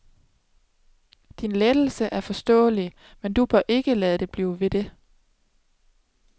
Din lettelse er forståelig, men du bør ikke lade det blive ved det.